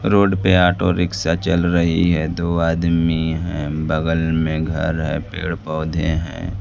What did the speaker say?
Road पे auto rickshaw चल रही है दो आदमी हैं बगल में घर है पेड़ पौधे हैं।